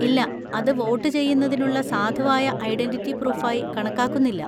ഇല്ല, അത് വോട്ടുചെയ്യുന്നതിനുള്ള സാധുവായ ഐഡന്‍റിറ്റി പ്രൂഫായി കണക്കാക്കുന്നില്ല.